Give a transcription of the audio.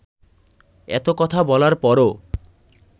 এত কথা বলার পরও